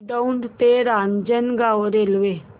दौंड ते रांजणगाव रेल्वे